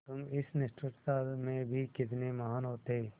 तुम इस निष्ठुरता में भी कितने महान् होते